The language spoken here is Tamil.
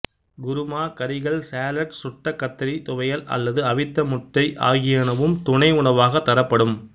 குருமா கறிகள் சாலட் சுட்ட கத்தரித் துவையல் அல்லது அவித்த முட்டை ஆகியனவும் துணை உணவாகத் தரப்படும்